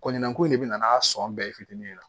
Kɔɲɔnko in de bɛ na n'a sɔn bɛɛ ye fitinin de la